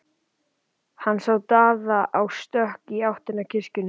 Hann sá Daða á stökki í áttina að kirkjunni.